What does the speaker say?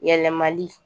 Yɛlɛmali